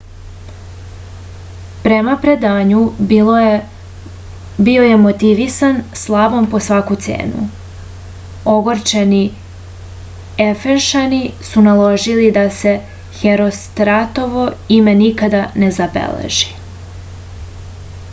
prema predanju bio je motivisan slavom po svaku cenu ogorčeni efešani su naložili da se herostratovo ime nikada ne zabeleži